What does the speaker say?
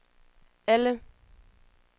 alle